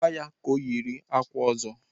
Gwaa ya ka o yiri akwa ọzọ!